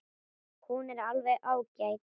Hún er alveg ágæt.